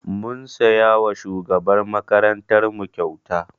Mun siya wa shugabar makarantar mu kyauta